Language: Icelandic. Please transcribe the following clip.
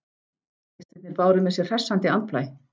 Gestirnir báru með sér hressandi andblæ.